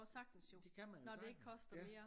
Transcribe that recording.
Det kan man jo sagtens